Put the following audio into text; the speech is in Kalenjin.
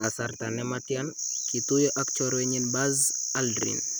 Kasarta nematyaan , kituyo ak chorwenyin Buzz Aldrin